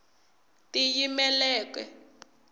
tiyimeleke